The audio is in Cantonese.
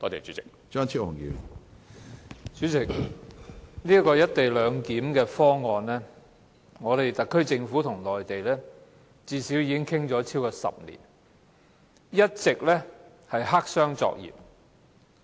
主席，關於"一地兩檢"方案，特區政府與內地已討論了最少超過10年，但一直黑箱作業。